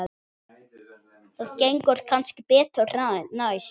Það gengur kannski betur næst.